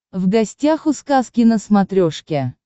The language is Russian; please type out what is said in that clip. в гостях у сказки на смотрешке